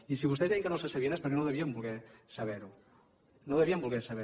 i si vostès deien que no se sabia és perquè no ho devien voler saber no ho devien voler saber